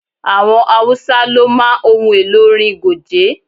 Àwọn Haúsá ló máa ń ohun elò orin Goge.